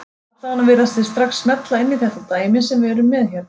Allavega virðast þeir strax smella inn í þetta dæmi sem við erum með hérna.